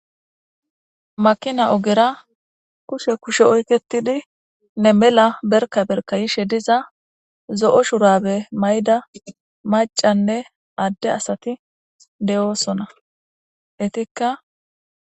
Makina ogera kushe kushe oyketidi nne mels berka berka yishe duza zo'o shurabe mayida macanne ade asati de'osona etikka